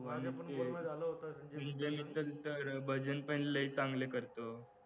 भजन पण लय चांगलं करतो